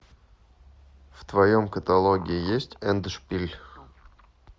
в твоем каталоге есть эндшпиль